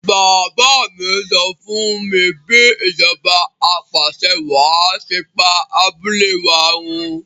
Bàbá mi sọ fúnmi bí ìjọba apàṣẹwàá ṣe pa abúlé wa run